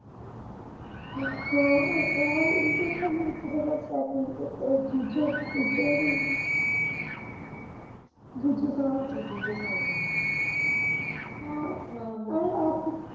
ਅਹ ਹਾਂ ਸਾਲ ਈ ਨਈਂ ਕੀਤਾ . ਅਹ ਦੂਜੇ ਤੀਜੇ ਵੀ ਨਈਂ ਦੂਜੇ ਦੂਜੇ ਸਾਲ ਤੋਂ ਅੱਛਾ ਦੂਜੇ ਸਾਲ ਤੋਂ ਹਾਂ ਅਹ ਆਹ ਵੀ ਐਤਕੀਂ।